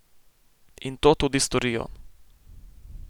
In to tudi storijo!